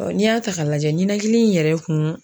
n'i y'a ta ka lajɛ ni ninhakili in yɛrɛ kun